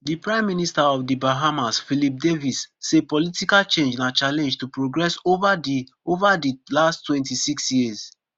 di prime minister of di bahamas philip davis say political change na challenge to progress ova di ova di last twenty-six years